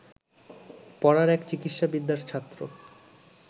পাড়ার এক চিকিৎসাবিদ্যার ছাত্র